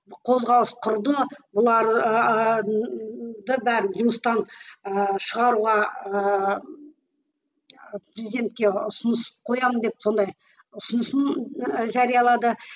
қозғалыс құрды бұлар бәрін жұмыстан ы шығаруға ыыы президентке ұсыныс қоямын деп сондай ұсынысын ы жариялады